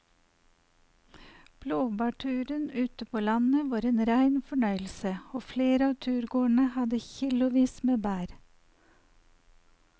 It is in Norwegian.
Blåbærturen ute på landet var en rein fornøyelse og flere av turgåerene hadde kilosvis med bær.